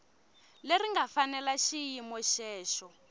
leri nga fanela xiyimo xexo